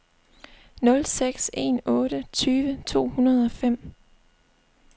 nul seks en otte tyve to hundrede og fem